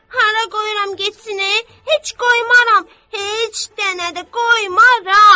Hara qoyuram getsin e, heç qoymaram, heç dənə də qoymaram.